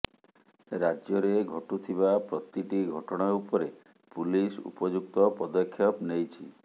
ରାଜ୍ୟରେ ଘଟୁଥିବା ପ୍ରତିଟି ଘଟଣା ଉପରେ ପୁଲିସ ଉପଯୁକ୍ତ ପଦକ୍ଷେପ ନେଉଛି